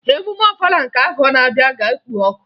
Emume Ọfala nke afọ na-abịa ga-ekpo ọkụ